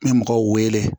N bɛ mɔgɔw wele